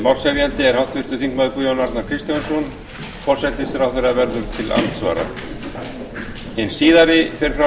málshefjandi er háttvirtur þingmaður guðjón arnar kristjánsson forsætisráðherra verður til andsvara hin síðari fer fram